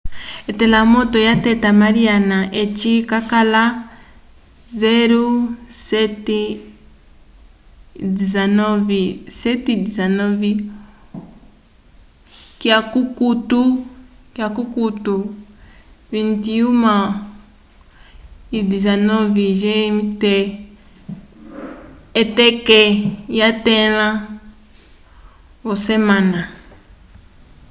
etelamoto lyateta mariana eci cakala 07:19 k’akukutu 21:19 gmt k’eteke lyetãlo v’osemana